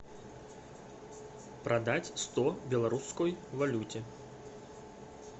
продать сто в белорусской валюте